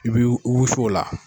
I b'i i wusu o la.